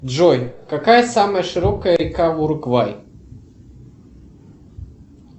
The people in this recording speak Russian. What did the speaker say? джой какая самая широкая река в уругвай